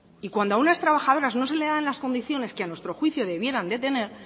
y cuando unas trabajadoras no se les dan las condiciones que a nuestro juicio debieran de tener